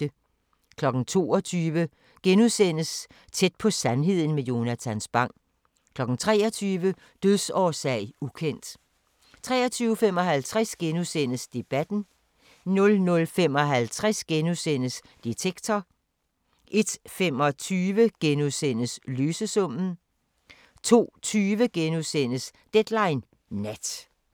22:00: Tæt på sandheden med Jonatan Spang * 23:00: Dødsårsag: ukendt 23:55: Debatten * 00:55: Detektor * 01:25: Løsesummen * 02:20: Deadline Nat